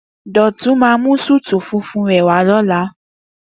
Doyin máa mú súútù funfun rè wá lóla